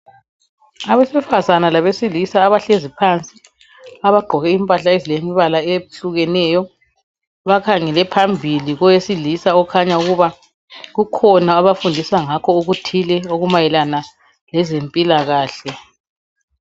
Abesifazana labesilisa abahlezi phansi abagqoke impahla ezilembala eyehlukeneyo bakhangele phambili kowesilisa okhanya kukhona obafundisa ngakho okuthile okumayelana ngezempilakahle